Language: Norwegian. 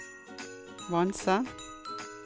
Vanse